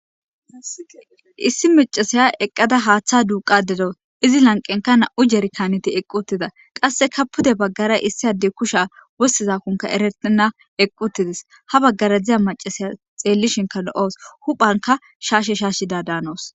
Issi macasaya eqqada haaththa duuqa dero izi lanqenka na'u jeri kaaneti eqqutida qasse ka pude baggara issi adde kusha wossizakonka eretenna eqqutides ha baggara dziza macasiya xeellishinka lo'oos huphanka shaashe shaashida daanoos.